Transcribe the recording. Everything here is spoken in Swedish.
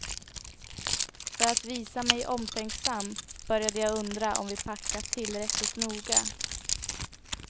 För att visa mig omtänksam, började jag undra om vi packat tillräckligt noga.